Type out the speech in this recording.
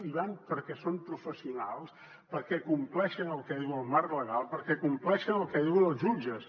hi van perquè són professionals perquè compleixen el que diu el marc legal perquè compleixen el que diuen els jutges